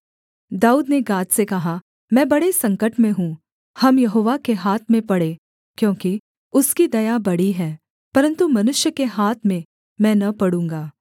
दाऊद ने गाद से कहा मैं बड़े संकट में हूँ हम यहोवा के हाथ में पड़ें क्योंकि उसकी दया बड़ी है परन्तु मनुष्य के हाथ में मैं न पड़ूँगा